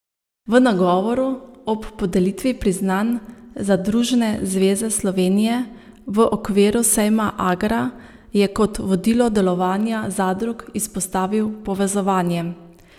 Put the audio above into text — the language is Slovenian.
V nagovoru ob podelitvi priznanj Zadružne zveze Slovenije v okviru sejma Agra je kot vodilo delovanja zadrug izpostavil povezovanje.